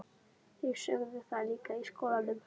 Þeir sögðu það líka í skólanum.